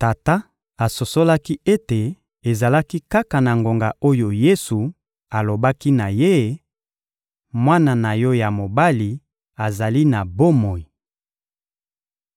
Tata asosolaki ete ezalaki kaka na ngonga oyo Yesu alobaki na ye: «Mwana na yo ya mobali azali na bomoi.»